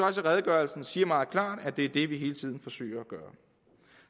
at redegørelsen siger meget klart at det er det vi hele tiden forsøger at gøre